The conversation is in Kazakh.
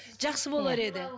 жақсы болар еді